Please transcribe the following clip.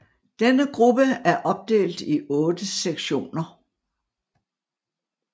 Denne gruppe er opdelt i otte sektioner